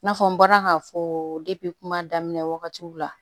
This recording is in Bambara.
I n'a fɔ n bɔra k'a fɔ kuma daminɛ wagatiw la